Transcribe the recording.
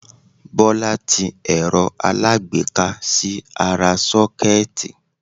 Bọ́lá ti ẹ̀rọ aláágbéká sí ara 'sókẹ́ẹ̀tì'